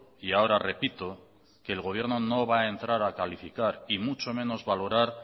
y ahora repito que el gobierno no va a entrar a calificar y mucho menos valorar